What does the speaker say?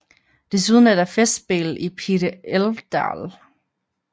Desuden er der Festspel i Pite Älvdal